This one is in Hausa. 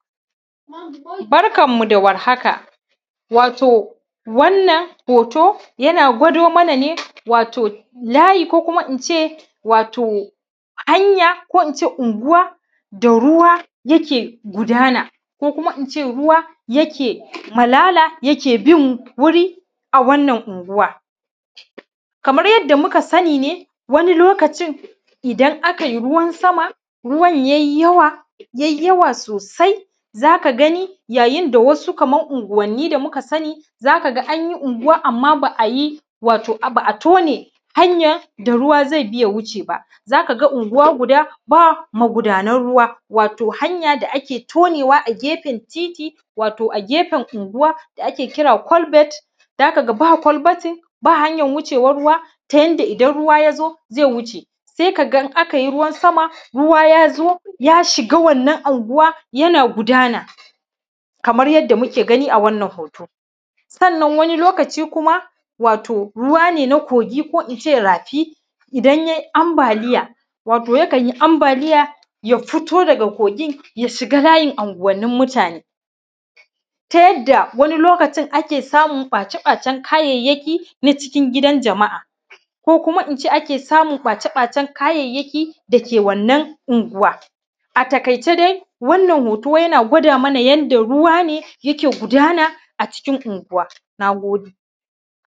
Barkanmu da warhaka wato wannan hoto yana kwadomana ne wato layi ko kuma in ce wato hanƴa ko kuma in ce unguwa da ruwa yake gudana ko kuma in ce ruwa yake malala yake bin wuri wannan unguwa kamar yadda muka sani ne wanni lokatin idan aka yi ruwan sama ruwan ya yi yawa ya yi yawa sosai akan gani yawacin da sa su unguwanni kamar yadda muka sani ne an yi unguwa amma ba’a yi ba’ a yi tǝne hanƴan da ruwa ze iya wuce ba aka ga unguwa guda ba magudanar ruwa to hanƴa da ake tonewa a gefen titi wato a gefen unguwa da ke kira kwalbati za a ga ba kwalbat ba hanƴan wucewan ruwa ta yanda ruwa in ya zo ze wuce se ka ga ruwa ya zo ya shiga wannan anguwa yana gudana kamar yadda muka gani a wannan hoton sannan wani lokacin kuma wato ruwa ne na kogi ko in ce rafi idan ya yi ambali wato kawai ya yi ambaliya ya fito daga kogin ya shiga layin anguwanni muatne ta yanda wanni lokacin ake samun ɓace-ɓacen kayayaki na gidan jama’a ko kuma in ce yadda ake samun ɓace-ɓacen kayayyaki dake wannan unguwa a taƙaice dai wannan hoto yana gwada mana yanda ruwa ne yake gudana a cikin unguwa na gode.